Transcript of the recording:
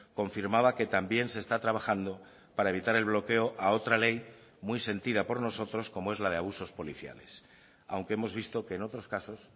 confirmaba que también se está trabajando para evitar el bloqueo a otra ley muy sentida por nosotros como es la de abusos policiales aunque hemos visto que en otros casos